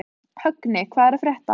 Högni, hvað er að frétta?